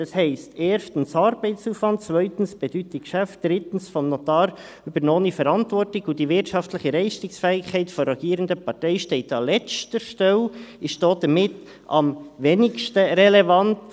Das heisst, erstens Arbeitsaufwand, zweitens Bedeutung Geschäft, drittens vom Notar übernommene Verantwortung, und die wirtschaftliche Fähigkeit der rogierenden Partei steht an letzter Stelle und ist damit am wenigsten relevant.